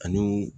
Ani